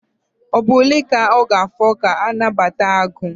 Ugboro ole ka ọ ga-afọ ka nnabata ha gwụ?